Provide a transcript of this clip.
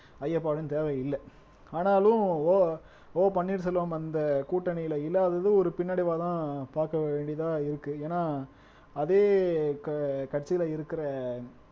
ஐயப்பாடும் தேவையில்ல ஆனாலும் ஓ பன்னீர் செல்வம் அந்த கூட்டணியில இல்லாதது ஒரு பின்னடைவாதான் பார்க்க வேண்டியதா இருக்கு ஏன்னா அதே க கட்சியில இருக்கிற